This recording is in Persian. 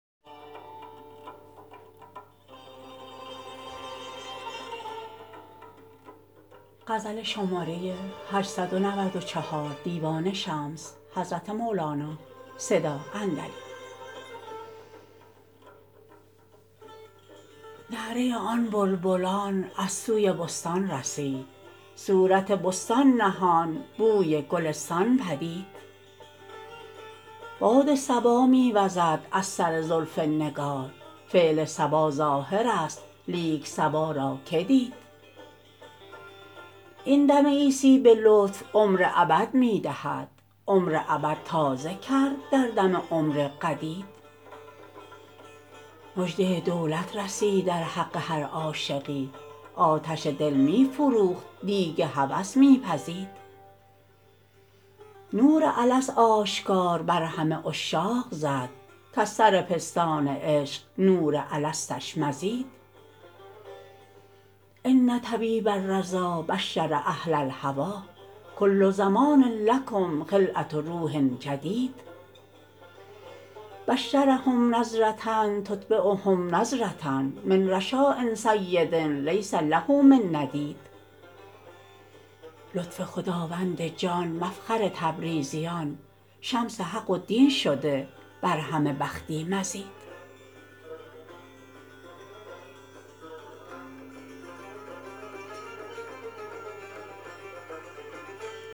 نعره آن بلبلان از سوی بستان رسید صورت بستان نهان بوی گلستان بدید باد صبا می وزد از سر زلف نگار فعل صبا ظاهرست لیک صبا را که دید این دم عیسی به لطف عمر ابد می دهد عمر ابد تازه کرد در دم عمر قدید مژده دولت رسید در حق هر عاشقی آتش دل می فروخت دیگ هوس می پزید نور الست آشکار بر همه عشاق زد کز سر پستان عشق نور الستش مزید ان طبیب الرضا بشر اهل الهوی کل زمان لکم خلعه روح جدید بشرهم نظره یتبعهم نضره من رشاء سید لیس له من ندید لطف خداوند جان مفخر تبریزیان شمس حق و دین شده بر همه بختی مزید